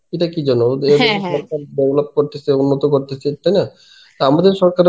এটা কি জন্যে ওদের develop করতেছে উন্নত করতেছে তাইনা? তা আমাদের সরকারের